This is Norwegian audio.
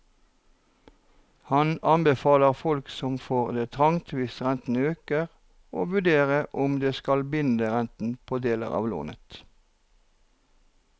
Han anbefaler folk som får det trangt hvis renten øker å vurdere om de skal binde renten på deler av lånet.